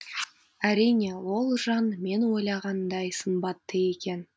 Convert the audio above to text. әрине ол жан мен ойлағандай сымбатты екен